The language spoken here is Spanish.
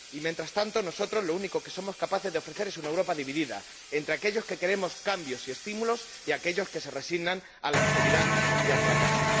Y mientras tanto, nosotros lo único que somos capaces de ofrecer es una Europa dividida entre aquellos que queremos cambios y estímulos, y aquellos que se resignan a la austeridad y al fracaso.